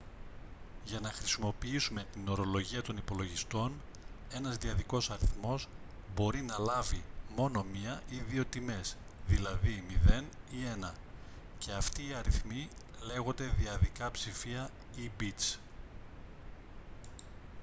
για να χρησιμοποιήσουμε την ορολογία των υπολογιστών ένας δυαδικός αριθμός μπορεί να λάβει μόνο μία ή δύο τιμές δηλαδή 0 ή 1 και αυτοί οι αριθμοί λέγονται δυαδικά ψηφία ή μπιτς